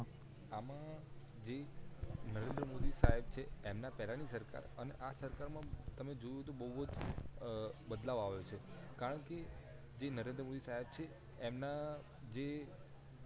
આમાં જે નરેન્દ્ર મોદી સાહેબ છે એમના પહેલા ની સરકાર અને આ સરકાર માં તમે જોયું કે બહુવજ જ બદલાવ આવે છે કારણ કે જે નરેન્દ્ર મોદી સાહેબ છે એમના જે